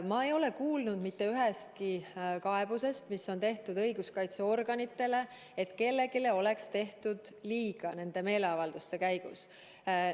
Ma ei ole kuulnud mitte ühestki õiguskaitseorganitele esitatud kaebusest, et kellelegi oleks tehtud nende meeleavalduste käigus liiga.